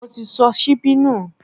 Mo ti sọ síbí nù